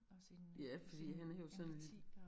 Og sin øh sin empati og